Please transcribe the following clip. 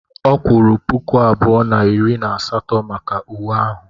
Ọ kwuru puku abụọ na iri na asatọ maka uwe ahụ.